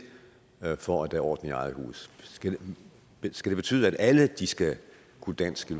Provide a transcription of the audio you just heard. for at der er orden i eget hus skal det betyde at alle skal kunne dansk i